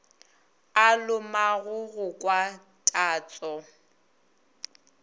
a lomago go kwa tatso